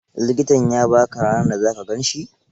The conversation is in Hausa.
Likitan ya ba ka ranar da za ka gan shi?